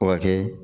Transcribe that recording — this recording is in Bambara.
O ka kɛ